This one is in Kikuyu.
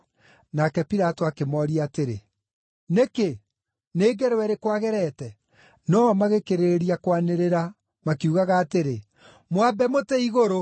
Nake Pilato akĩmooria atĩrĩ, “Nĩkĩ? Nĩ ngero ĩrĩkũ agerete?” No-o magĩkĩrĩrĩria kwanĩrĩra, makiugaga atĩrĩ, “Mwambe mũtĩ igũrũ!”